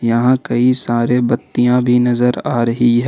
यहां कई सारे बत्तियां भी नजर आ रही ह--